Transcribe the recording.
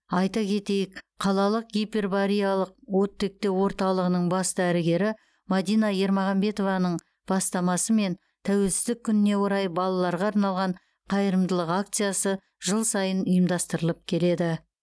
айта кетейік қалалық гипербариялық оттектеу орталығының бас дәрігері мадина ермағанбетованың бастасымен тәуелсіздік күніне орай балаларға арналған қайырымдылық акциясы жыл сайын ұйымдастыралып келеді